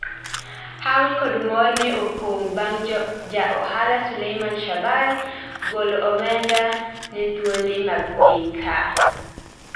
Hawi kod mor ne opong bang ja ohala Suleiman Shahbal golo omenda ne thuondi mag piny ka